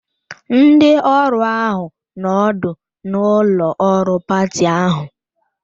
Ndị ọrụ ahụ nọ ọdụ n'ụlọ ọrụ pati ahụ